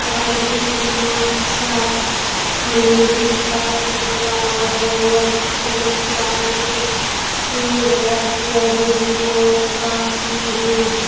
पार कितना अच्छा हमें दिखाई दे रहा है और कितनी सारी पेड़ और पौधे हैं और काफी हैं।